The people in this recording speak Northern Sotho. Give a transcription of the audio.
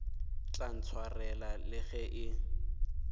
tla ntshwarela le ge e